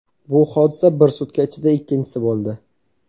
Bu hodisa bir sutka ichida ikkinchisi bo‘ldi.